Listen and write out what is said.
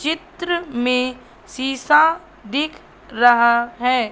चित्र में शीशा दिख रहा है।